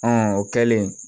o kɛlen